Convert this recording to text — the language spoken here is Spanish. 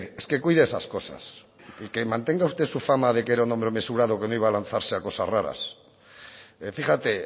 es que cuide esas cosas y que mantenga usted su fama de que era un hombre mesurado que no iba a lanzarse a cosas raras fíjate